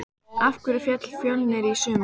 Af hverju féll Fjölnir í sumar?